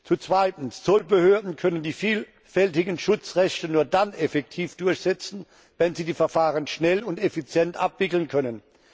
Zu zweitens Zollbehörden können die vielfältigen Schutzrechte nur dann effektiv durchsetzen, wenn sie die Verfahren schnell und effizient abwickeln können.